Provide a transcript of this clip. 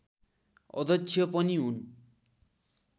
अध्यक्ष पनि हुन्